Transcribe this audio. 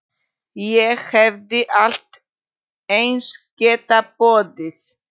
Ég hefði allt eins getað boðið